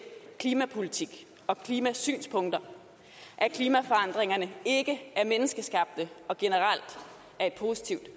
klimapolitik og klimasynspunkter at klimaforandringerne ikke er menneskeskabt og generelt er et positivt